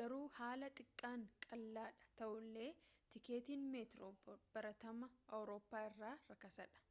garuu haala xiqqaan qaala'aadha ta'ullee tikkeettiin meetiroo baratamaa awurooppaa irra rakasaadha